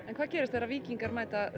en hvað gerist þegar víkingar mæta